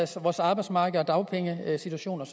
til vores arbejdsmarked og dagpengesituationen